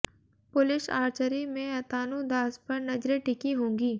पुरुष आर्चरी में अतानु दास पर नजरें टिकी होंगी